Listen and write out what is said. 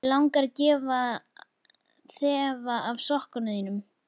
Mig langar að þefa af sokkum þínum.